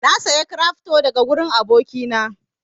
Na saya cryfto daga wurin aboki na